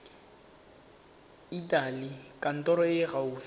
etela kantoro e e gaufi